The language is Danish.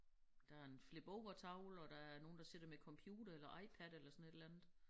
Der en flipovertavle og der er nogle der sidder med computere eller IPad eller sådan et eller andet